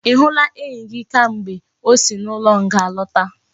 I hula enyi gi kamgbe osi na ulo nga lota?